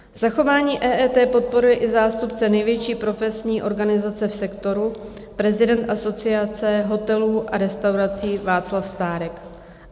Zachování EET podporuje i zástupce největší profesní organizace v sektoru, prezident Asociace hotelů a restaurací Václav Stárek.